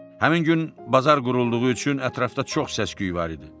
Həmin gün bazar qurulduğu üçün ətrafda çox səs-küy var idi.